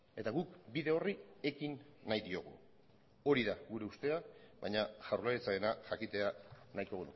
eta guk bide horri ekin nahi diogu hori da gure ustea baina jaurlaritzarena jakitea nahiko